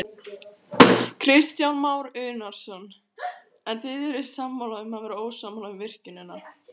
Kristján Már Unnarsson: En þið eruð sammála um að vera ósammála um virkjunina?